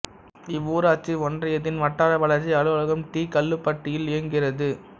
இவ்வூராட்சி ஒன்றியத்தின் வட்டார வளர்ச்சி அலுவலகம் டி கல்லுப்பட்டியில் இயங்குகிறது